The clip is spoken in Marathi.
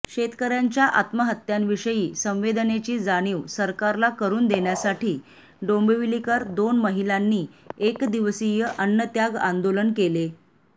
शेतकऱ्यांच्या आत्महत्यांविषयी संवेदनेची जाणीव सरकारला करून देण्यासाठी डोंबिवलीकर दोन महिलांनी एक दिवसीय अन्नत्याग आंदोलन केले